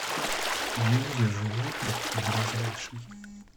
в мире животных ближайший